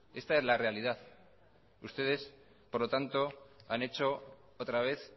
esta es la realidad ustedes por lo tanto han hecho otra vez